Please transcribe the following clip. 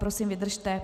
Prosím, vydržte.